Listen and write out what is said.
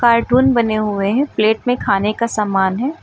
Cartoon बने हुए हैं प्लेट में खाने का सामान है।